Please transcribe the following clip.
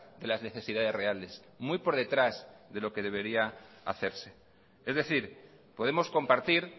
de las necesidades reales muy por detrás de lo que debería hacerse es decir podemos compartir